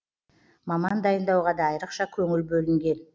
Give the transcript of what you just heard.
маман дайындауға да айрықша көңіл бөлінген